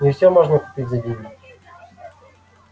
не все можно купить за деньги